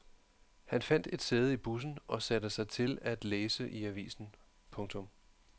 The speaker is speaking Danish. Han fandt et sæde i bussen og satte sig til at læse i avisen. punktum